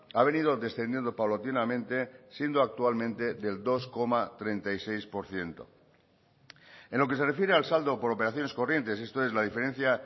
ha venido descendiendo paulatinamente siendo actualmente del dos coma treinta y seis por ciento en lo que se refiere al saldo por operaciones corrientes esto es la diferencia